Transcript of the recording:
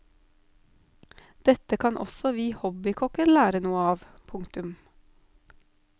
Dette kan også vi hobbykokker lære noe av. punktum